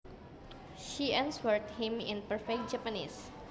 She answered him in perfect Japanese